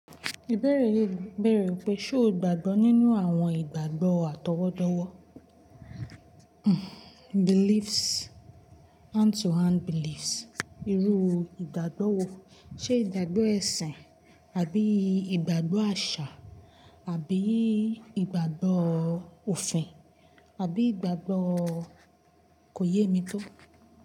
Ìbéèrè yìí bèèrè pé ṣé o gbàgbọ́ nínú àwọn ìgbàgbọ́ àtọwọ́dọ́wọ́, beliefs, hand to hand beliefs, irú ìgbàgbọ́ wo? Ṣé ìgbàgbọ́ ẹ̀sìn àbí ìgbàgbọ́ àṣà àbí ìgbàgbọ́ òfin àbí ìgbàgbọ́ kò yé mi tó.